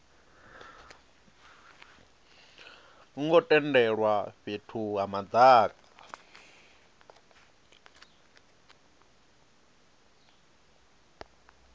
ngo tendelwa fhethu ha madaka